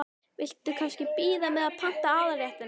Viltu kannski bíða með að panta aðalréttina?